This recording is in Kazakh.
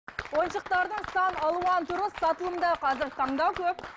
ойыншықтардың сан алуан түрі сатылымда қазіргі таңдау көп